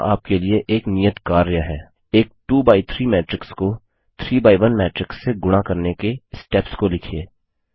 यहाँ आपके लिए एक नियत कार्य है एक 2एक्स3 मैट्रिक्स को 3एक्स1 मैट्रिक्स से गुणा करने के स्टेप्स को लिखिए